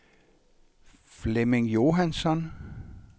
Flemming Johansson